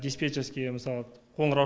диспетчерский мысалы қоңырау